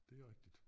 Det rigtigt